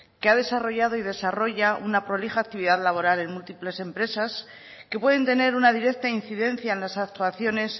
que ha desarrollado y desarrolla una prolija actividad laboral en múltiples empresas que pueden tener una directa incidencia en las actuaciones